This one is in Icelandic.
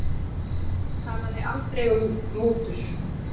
Talaði aldrei um mútur